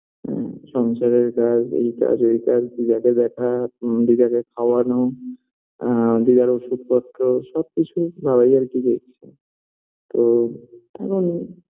হুম সংসারের কাজ এই কাজ ওই কাজ দিদাকে দেখা হুম দিদাকে খাওয়ানো আ দিদার ওষুধপত্র সবকিছু বাবাই আর কি দেখছে তো এখন